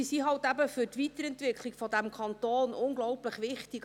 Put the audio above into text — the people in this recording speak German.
Diese sind für die Weiterentwicklung dieses Kantons unglaublich wichtig.